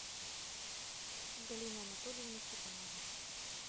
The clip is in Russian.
галину анатольевну степанову